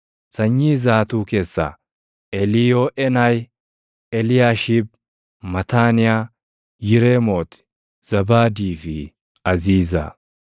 Sanyii Zaatuu keessaa: Eliiyooʼeenayi, Eliyaashiib, Mataaniyaa, Yireemooti, Zaabaadii fi Aziizaa.